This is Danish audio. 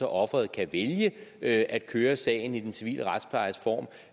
offeret kan vælge at køre sagen i den civile retsplejes form